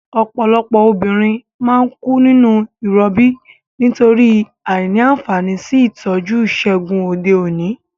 Òpòlopò obìnrin má n kú nínú ìrobí nítorí àìní ànfàní sí ìtójú ìsègùn òde òní